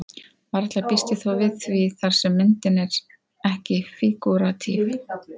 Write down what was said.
Varla býst ég þó við því þar sem myndin er ekki fígúratíf.